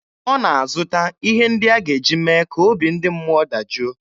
Ọ na-azụta ihe ndị a ga-eji mee ka obi ndị mmụọ dajụọ.